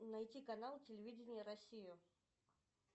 найти канал телевидение россия